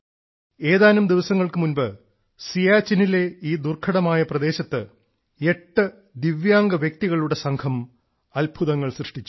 ഏതാനും ദിവസങ്ങൾക്കു മുൻപ് സിയാച്ചിനിലെ ഈ ദുർഘടമായ പ്രദേശത്ത് എട്ടു ദിവ്യാംഗ വ്യക്തികളുടെ സംഘം അത്ഭുതങ്ങൾ സൃഷ്ടിച്ചു